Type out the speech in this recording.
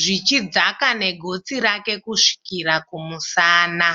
zvichidzaka negotsi rake kusvikira kumusana.